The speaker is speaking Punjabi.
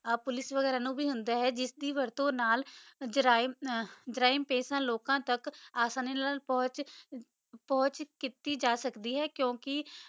ਆ ਪੋਲਿਕੇ ਵਗੈਰਾ ਨੂ ਵੀ ਹੋਂਦਾ ਆ ਜਿਸ ਵੀ ਵਰਤੋ ਨਾਲ ਜਾਰਿਮ ਪਿਸ਼ ਆ ਲੋਕਾ ਤਕ ਆਂਡਿ ਖੋਜ ਕੀਤੀ ਜਾ ਸਕਦੀ ਆ ਕੁ ਕਾ